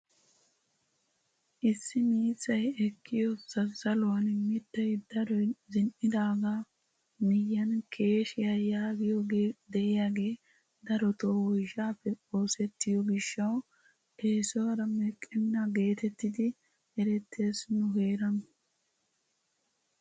Issi miizzay eqqiyoo zazzaluwaan miittay daroy zin"idagaa miyiyaan keeshshiyaa yagiyoogee de'iyaagee darotoo woyshshaappe oosettiyoo giishshawu esuwaara meqqenna getettidi erettees nu heeran.